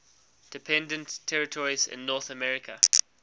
dependent territories in north america